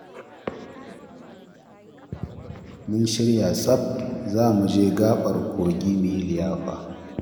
Mun shirya tsaf za mu je gaɓar kogi mu yi liyafa